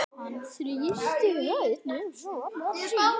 Hann þrýsti hönd sonar síns.